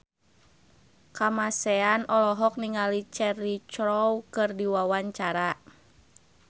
Kamasean olohok ningali Cheryl Crow keur diwawancara